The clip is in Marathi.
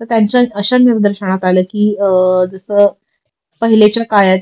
तर त्यांच्या अश्या निर्दर्शनात आलं कि जस पहीलेच्या काळात